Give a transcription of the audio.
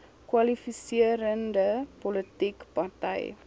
kwalifiserende politieke party